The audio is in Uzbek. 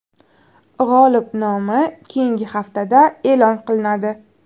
G‘olib nomi keyingi haftada e’lon qilinadi.